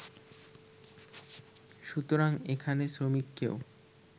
সুতরাং এখানে শ্রমিককেও